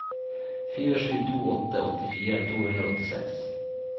fire sju to åtte åttifire to hundre og åttiseks